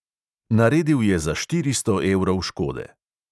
Naredil je za štiristo evrov škode.